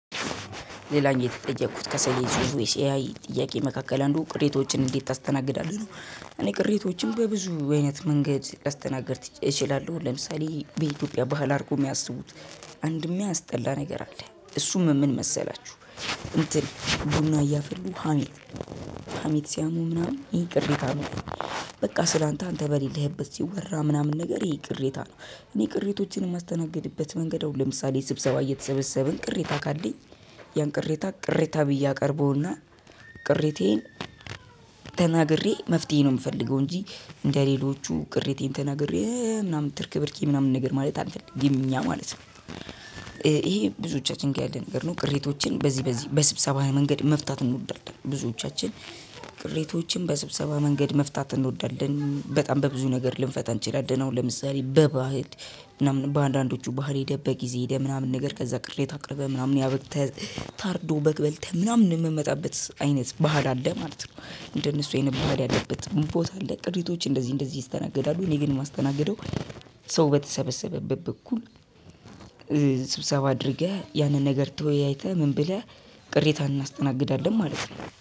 ሌላኛው የተጠየኩት ከሰየች ብዙ የሲአይ ጥያቄ መካከል አንዱ ቅሬቶችን እንዴት ታስተናግዳለህ ነው እኔ ቅሬቶችም በብዙ አይነት መንገድ ላስተናገድ እችላለሁ ለምሳሌ በኢትዮጵያ ባህል አድርጎ የሚያስቡት አንድም ሚያስጠላ ነገር አለ እሱም ምን መሰላችሁ እንትን ቡና እያፈሉ ሀሜት ሀሚት ሲያሙ ምናምን ይሄ ቅሬታ ነው በቃ ስላንተ አንተ በሌለህበት ሲወራ ምናምን ነገር ይሄ ቅሬታ ነው። እኔ ቅሬቶችን የማስተናግድበት መንገድ አሁን ለምሳሌ ስብሰባ እየተሰበሰብን ቅሬታ ካለኝ ያን ቅሬታ ቅሬታ ብዬ አቅርበውና ቅሬቴን ተናግሬ መፍትሄ ነው የምፈልገው እንጂ እንደሌሎቹ ቅሬቴን ተናግሬ ምናምን ትርክብርኪ ምናምን ነገር ማለት አልፈልግም እኛ ማለት ነው ይሄ ብዙዎቻችን ጋር ያለ ነገር ነው ቅሬቶችን በዚህ በዚህ በስብሰባዊ መንገድ መፍታት እንወዳለን ብዙዎቻችን ቅሬቶችን በስብሰባ መንገድ መፍታት እንወዳለን። በጣም በብዙ ነገር ልንፈታ እንችላለን። አሁን ለምሳሌ በባህል በአንዳንዶቹ ባህል ቤት ሄደህ ምናምን ነገር ቅሬታ አቅርበህ ምናምን ነገር ታርዶ በግ በልተን ምናምን የምንመጣበት አይነት ባህል አለ ማለት ነው። እንደነሱ አይነት ባህል ያለበት ቦታ አለ። ቅሬታዎች እንደዚህ እንደዚህ ይስተናገዳሉ እኔ ግን የማስተናግደው ሰው በተሰበሰበበት በኩል ስብሰባ አድርገህ ያንን ነገር ተወያይተህ ምን ብለህ ቅሬታ እናስተናግዳለን ማለት ነው።